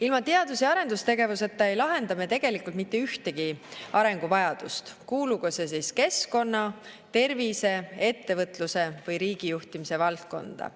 Ilma teadus‑ ja arendustegevuseta ei lahenda me tegelikult mitte ühtegi arenguvajadust, kuulugu see keskkonna, tervise, ettevõtluse või riigijuhtimise valdkonda.